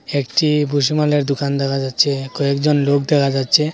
একটি দোকান দেখা যাচ্ছে কয়েকজন লোক দেখা যাচ্ছে।